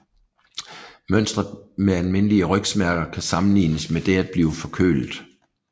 Mønstret med almindelige rygsmerter kan sammenlignes med det at blive forkølet